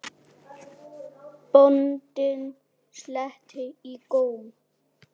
Bóndinn sletti í góm.